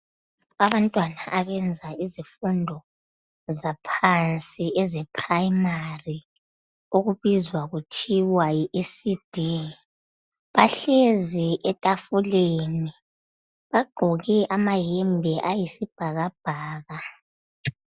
Abantwana abenza izifundo zaphansi ezeprimary okubizwa kuthiwa yiECD bahlezi etafuleni bagqoke amayembe ayisibhakabhaka.